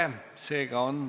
Tänane istung on lõppenud.